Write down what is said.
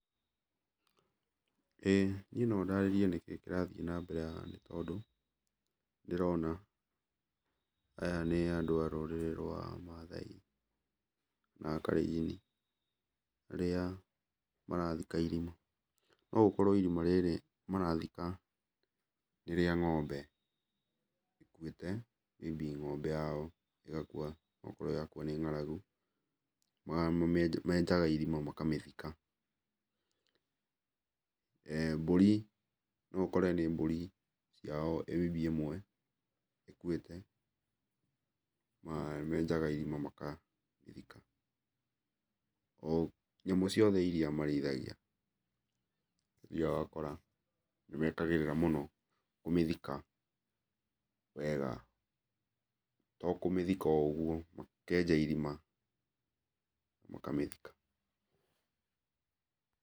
Ĩĩ niĩ no ndarĩrie nĩkĩĩ kĩrathiĩ na mbere haha tondũ ndĩrona, aya nĩ andũ a rũrĩrĩ rwa mathai na a karĩnjini arĩa marathika irima, no gũkorwo irima rĩrĩ marathika nĩ rĩa ng'ombe ĩkuĩte, maybe ng'ombe yao ĩgakua okorwo yakua nĩ ng'aragu, menjaga irima makamĩthika. Mbũri no ũkore nĩ mbũri yao maybe ĩmwe ĩkuĩte, menjaga irima magathika, o nyamũ ciothe iria marĩithagia, nĩ ũthiaga ũgakora nĩ mekagĩrĩra mũno, kũmĩthika wega, to kũmĩthika o ũguo, makenja irima makamĩthika.